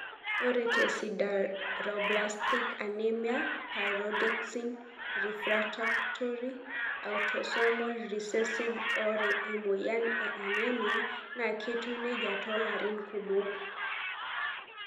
ore tesideroblastic anemia pyridoxine refractory autosomal recessive ore emoyian e anemia na ketiu neijia tolarin kumok.